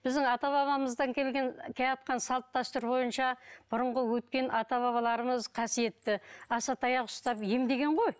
біздің ата бабамыздан келген келеатқан салт дәстүр бойынша бұрынғы өткен ата бабаларымыз қасиетті асатаяқ ұстап емдеген ғой